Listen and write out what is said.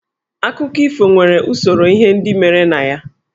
Akụkọ ifo nwere usoro ihe ndị mere na ya.